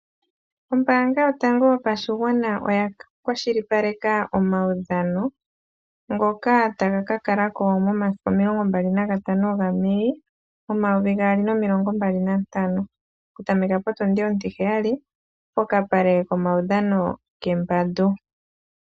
Ombaanga yotango yopashigwana oya kwashili paleka omaudhano, ngoka taga ka kalako momasiku omilongo mbali nagatano ga May , omayovi gaali nomilongo mbali nantano. Oku tameka potundi ontiheyali, pokapale komaudhano kembandu.